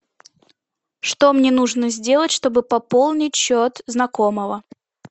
что мне нужно сделать чтобы пополнить счет знакомого